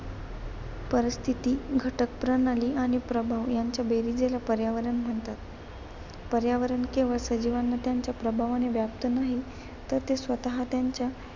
परिस्थिती घटकप्रणाली आणि प्रभाव यांची बेरीज याला पर्यावरण म्हणतात. पर्यावरण केवळ सजीवांवर आणि त्यांच्या प्रभावाने व्याप्त नाही तर ते स्वतः त्यांच्या